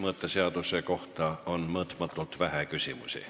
Mõõteseaduse kohta on mõõtmatult vähe küsimusi.